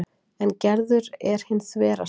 En Gerður er hin þverasta.